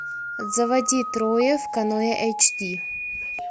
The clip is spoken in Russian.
заводи трое в каноэ эйч ди